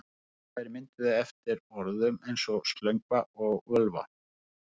Tölva er myndað eftir orðum eins og slöngva og völva.